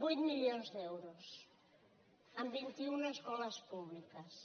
vuit milions d’euros en vint i una escoles públiques